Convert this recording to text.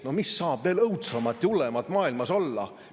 No mis saab veel õudsemat ja hullemat maailmas olla!